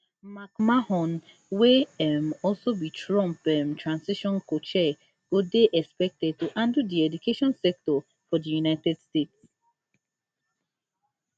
mcmahon wey um also be trump um transition cochair go dey expected to handle di education sector for di united states